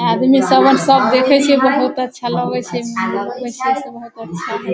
आदमी सबेन सब देखे से बोहोत अच्छा लगे से बोहोत अच्छा है।